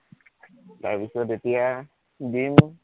তাৰপাছত এতিয়া ডিম